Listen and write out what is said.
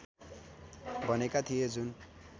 भनेका थिए जुन